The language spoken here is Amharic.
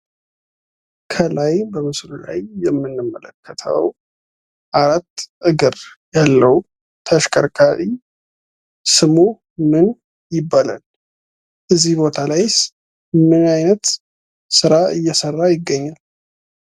ከላይ በምስሉ ላይ የምንመለከተው አራት እግር ያለው ስሙ ምን ይባላል? እዚህ ቦታ ላይስ ምን አይነት ስራ እየሰራ ይገኛል?